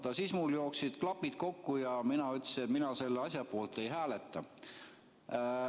Ja siis mul jooksid klapid kokku ja mina ütlesin, et mina selle asja poolt ei hääleta.